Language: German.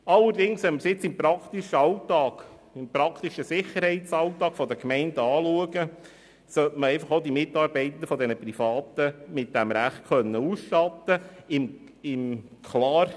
Wenn man allerdings den praktischen Sicherheitsalltag der Gemeinden anschaut, kommt man zum Schluss, dass man auch die Mitarbeitenden der privaten Anbieter mit diesem Recht ausstatten können sollte.